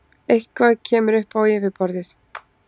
Eitthvað kemur upp á yfirborðið